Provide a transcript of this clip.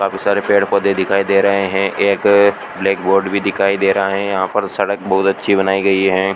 काफी सारे पेड पौधे दिखाई दे रहे हैं एक ब्लैक बोर्ड भी दिखाई दे रहा है यहां पर सड़क बहोत अच्छी बनाई गई हैं।